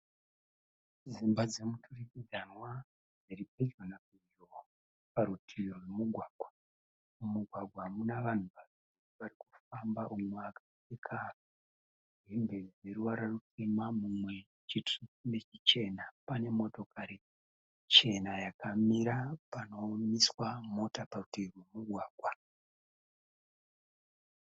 Dzimba dzemudurikidzanwa dziri pedyo napedyo parutivi rwemugwagwa, mugwagwa muna vanhu vaviri vari kufamba umwe akapfeka hembe dzeruvara rutema mumwe chitsvuku nechichena pane motokari chena yakamira panomiswa mota parutivi rwemugwagwa.